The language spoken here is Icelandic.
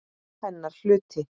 Hennar hluti.